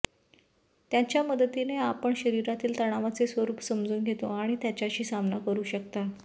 त्याच्या मदतीने आपण शरीरातील तणावाचे स्वरूप समजून घेतो आणि त्याच्याशी सामना करू शकता